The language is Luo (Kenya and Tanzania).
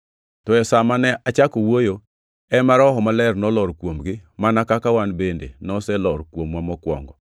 “To e sa ma ne achako wuoyo, ema Roho Maler nolor kuomgi, mana kaka wan bende noselor kuomwa mokwongo.